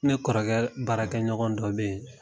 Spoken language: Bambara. Ne kɔrɔkɛ baarakɛ ɲɔgɔn dɔ bɛ yen.